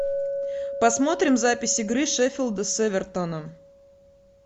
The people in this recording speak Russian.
посмотрим запись игры шеффилда с эвертоном